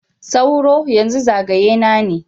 Sauro, yanzu zagaye na ne.